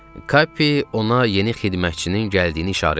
Kappi ona yeni xidmətçinin gəldiyini işarə elədi.